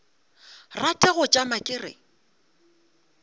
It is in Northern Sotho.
rate go tšama ke re